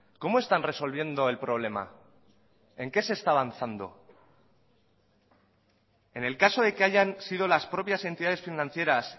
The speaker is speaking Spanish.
cómo están resolviendo el problema en qué se está avanzando en el caso de que hayan sido las propias entidades financieras